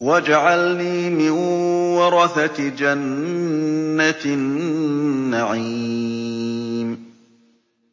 وَاجْعَلْنِي مِن وَرَثَةِ جَنَّةِ النَّعِيمِ